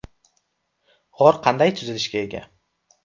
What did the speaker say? G‘or qanday tuzilishga ega?